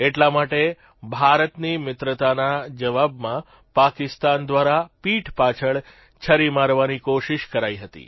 એટલા માટે ભારતની મિત્રતાના જવાબમાં પાકિસ્તાન દ્વારા પીઠ પાછળ છરી મારવાની કોશિષ કરાઇ હતી